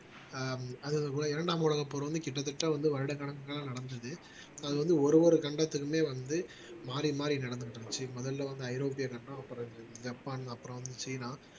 ஆஹ் அது போல இரண்டாம் உலகப்போர் வந்து கிட்டத்தட்ட வந்து வருடக்கணக்குல நடந்தது அது வந்து ஒரு ஒரு கண்டத்துக்குமே வந்து மாறி மாறி நடந்துகிட்டு இருந்துச்சு முதல்ல வந்து ஐரோப்பிய கண்டம் அப்பறம் ஜப்பான் அப்புறம் சீனா